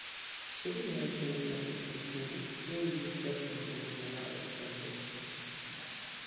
shebi you know say plenty people still dey were really get wrong belief about sti testing